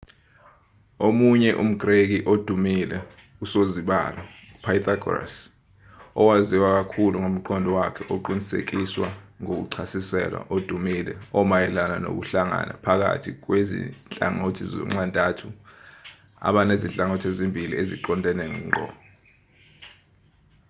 omunye umgreki odumile usozibalo upythagoras owaziwa kakhulu ngomqondo wakhe oqinisekiswa ngokuchasiselwa odumile omayelana nokuhlangana phakathi kwezinhlangothi zonxantathu abanezinhlangothi ezimbili eziqondene ngqo